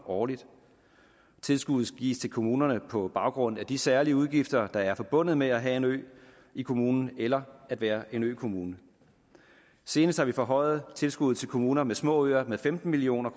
årligt tilskuddet gives til kommunerne på baggrund af de særlige udgifter der er forbundet med at have en ø i kommunen eller at være en økommune senest har vi forhøjet tilskuddet til kommuner med små øer med femten million